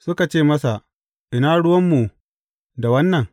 Suka ce masa, Ina ruwanmu da wannan?